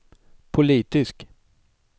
politisk